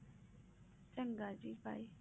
ਚੰਗੇ ਜੀ bye